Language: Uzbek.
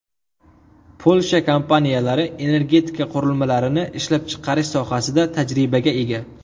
Polsha kompaniyalari energetika qurilmalarini ishlab chiqarish sohasida tajribaga ega.